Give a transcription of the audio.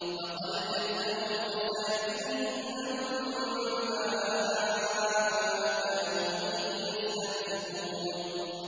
فَقَدْ كَذَّبُوا فَسَيَأْتِيهِمْ أَنبَاءُ مَا كَانُوا بِهِ يَسْتَهْزِئُونَ